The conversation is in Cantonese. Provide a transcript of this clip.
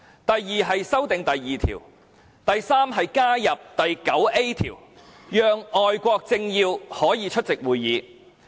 第三，在《議事規則》加入第 9A 條，讓外國政要可以出席會議。